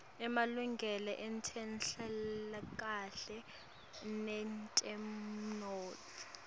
emalungelo etenhlalakahle netemnotfo